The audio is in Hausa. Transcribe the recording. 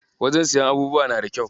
Wajen siyan abubuwa na da kyau.